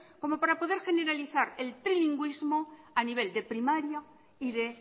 como para poder generalizar el trilingüismo a nivel de primaria y de